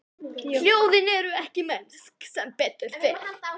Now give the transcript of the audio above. Hljóðin eru ekki mennsk, sem betur fer.